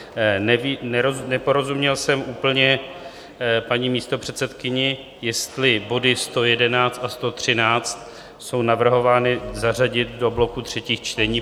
Neporozuměl jsem úplně paní místopředsedkyni, jestli body 111 a 113 jsou navrhovány zařadit do bloku třetích čtení.